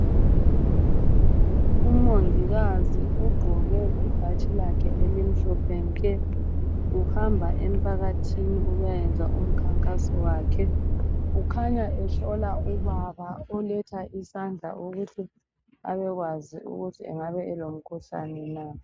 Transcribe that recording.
Umongikazi ugqoke ibhatshi lakhe elimhlophe nke. Uhamba emphakathini ukuyayenza umkhankaso wakhe .Ukhanya ehlola ubaba oletha isandla ukuthi abekwazi ukuthi engabe elomkhuhlane na.